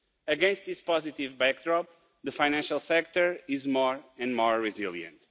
Against this positive backdrop, the financial sector is more and more resilient.